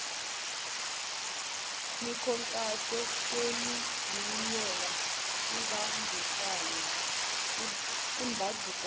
mikhankaso yobunjiniyela imbandakanya